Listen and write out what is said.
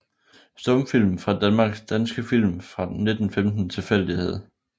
Stumfilm fra Danmark Danske film fra 1915 Tilfældighed